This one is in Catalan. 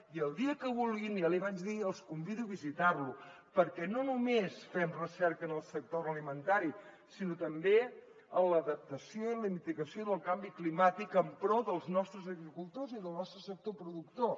i el dia que vulguin ja l’hi vaig dir els convido a visitar lo perquè no només fem recerca en el sector agroalimentari sinó també en l’adaptació i la mitigació del canvi climàtic en pro dels nostres agricultors i del nostre sector productor